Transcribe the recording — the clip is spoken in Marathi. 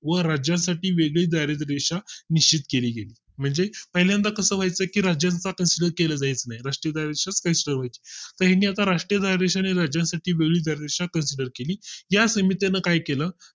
व राज्या साठी वेगळी दारिद्र रेषा निश्चित केली गेली म्हणजे पहिल्यांदा कसं व्हायचं की राज्याचा consider केले जात नाही राष्टीय दारिद्र रेषा consider व्हायची तर ह्यांनी आता राष्ट्रीय दारिद्र्यरेषा आणि राज्यांसाठी वेगळी दारिद्र्यरेषा CONSIDER केली ह्या समितीनं काय केलं